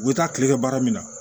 U bɛ taa tile kɛ baara min na